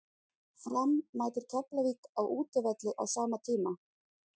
Fram mætir Keflavík á útivelli á sama tíma.